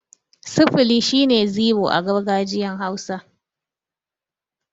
Sifili' shine zero a gargajiyan hausa.